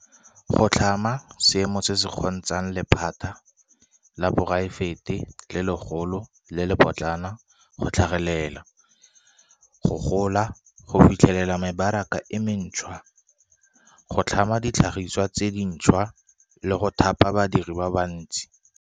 Go tlhama seemo se se kgontshang lephata la poraefete le legolo le le lepotlana go tlhagelela, go gola, go fitlhelela mebaraka e mentšhwa, go tlhama ditlhagiswa tse dintšhwa, le go thapa badiri ba bantsi.